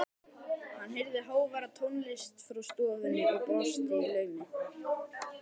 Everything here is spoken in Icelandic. Hann heyrði háværa tónlist frá stofunni og brosti í laumi.